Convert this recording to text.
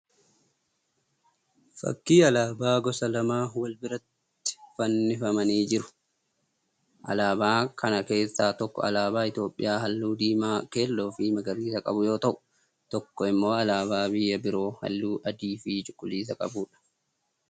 Fakkii alaabaa gosa lama wal biratti fannifamanii jiraniidha. Alaabaa kana keessaa tokko alaaba Itiyoopiyaa halluu diimaa, keelloo fi magariisa qabu yoo ta'u tokko immoo alaabaa biyya biroo halluu adii fi cuquliisa qabuudha.